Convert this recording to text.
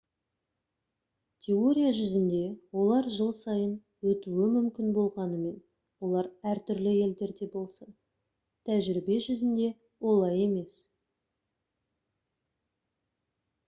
теория жүзінде олар жыл сайын өтуі мүмкін болғанымен олар әртүрлі елдерде болса тәжірибе жүзінде олай емес